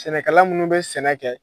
Sɛnɛkala minnu bɛ sɛnɛ kɛ